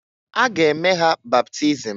A ga eme ha baptism.